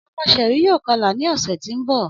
Ọmọ Sherry yoo kọla ni ọsẹ ti n bọ.